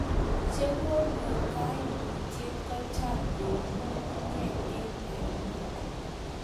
chekonyor kaimutiet ko chang ko u ngunguyek eng ainet